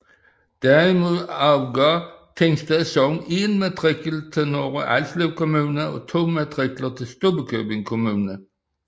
Derimod afgav Tingsted Sogn 1 matrikel til Nørre Alslev Kommune og 2 matrikler til Stubbekøbing Kommune